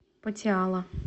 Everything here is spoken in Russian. патиала